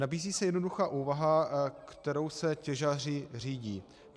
Nabízí se jednoduchá úvaha, kterou se těžaři řídí.